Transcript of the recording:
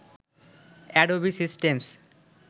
Adobe systems